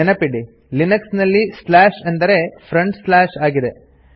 ನೆನಪಿಡಿ ಲಿನೆಕ್ಸ್ನಲ್ಲಿ ಸ್ಲಾಶ್ ಅಂದರೆ ಫ್ರಂಟ್ ಸ್ಲಾಶ್ ಆಗಿದೆ